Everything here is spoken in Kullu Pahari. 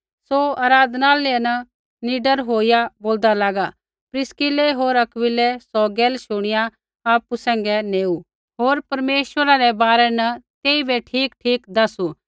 सौ आराधनालय न निडर होईया बोलदा लागा प्रिस्किलै होर अक्विलै सौ गैला शुणिया आपु सैंघै नेऊ होर परमेश्वरै रै बारै न तेइबै ठीकठीक दैसू